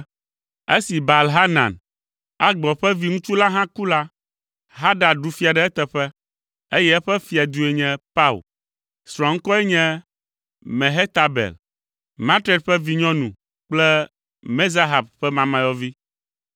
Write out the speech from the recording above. Esi Baal Hanan, Akbor ƒe viŋutsu la hã ku la, Hadad ɖu fia ɖe eteƒe, eye eƒe fiadue nye Pau. Srɔ̃a ŋkɔe nye Mehetabel, Matred ƒe vinyɔnu kple Mezahab ƒe mamayɔvi.